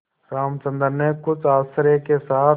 रामचंद्र ने कुछ आश्चर्य के साथ